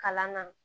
Kalan na